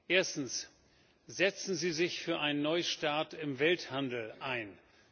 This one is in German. Erstens Setzen Sie sich für einen Neustart im Welthandel ein.